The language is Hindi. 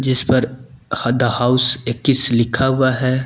इस पर हद हाउस इक्कीस लिखा हुआ है।